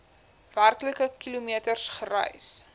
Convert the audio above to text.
werklike kilometers gereis